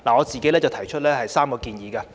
就此，我提出3項建議。